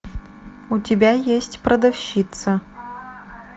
у тебя есть продавщица